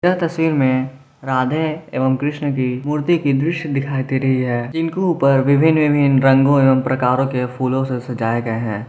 यह तस्वीर मे राधे एवं कृष्ण की मूर्ति की दृश्य दिखाई दे रही है जिनके ऊपर विभिन्न विभिन्न रंगों एवं प्रकारों के फूलों से सजाये गए हैं।